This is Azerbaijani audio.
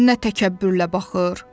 Nə təkəbbürlə baxır.